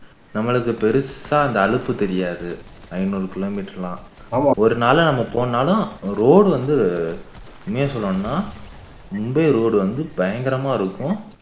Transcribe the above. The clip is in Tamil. நம்மளுக்கு பெரிசா அந்த அலுப்பு தெரியாது ஐநூறு kilometer லாம் ஒரு நாள்ல நம்ம போகணும்னாளும் அந்த road வந்து உண்மையா சொல்லணும்னா மும்பை road வந்து பயங்கரமா இருக்கும்